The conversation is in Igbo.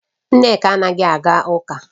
Nneka anaghi aga uka